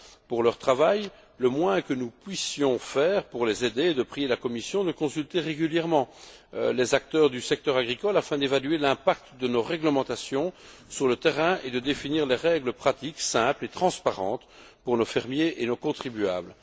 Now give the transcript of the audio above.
pour leur travail, le moins que nous puissions faire pour les aider est de prier la Commission de consulter régulièrement les acteurs du secteur agricole afin d'évaluer l'impact de nos réglementations sur le terrain et de définir des règles pratiques simples et transparentes pour nos fermiers et nos contribuables.